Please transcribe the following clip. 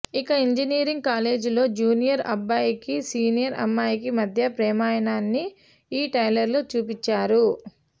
ఒక ఇంజినీరింగ్ కాలేజీలో జూనియర్ అబ్బాయికి సీనియర్ అమ్మాయికి మధ్య ప్రేమాయణాన్ని ఈ ట్రైలర్లో చూపించారు